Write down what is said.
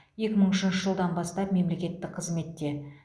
екі мың үшінші жылдан бастап мемлекеттік қызметте